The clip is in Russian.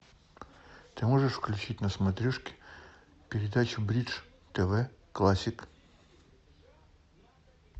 ты можешь включить на смотрешке передачу бридж тв классик